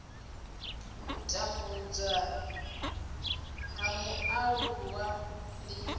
u tambudzwa ha mualuwa ndi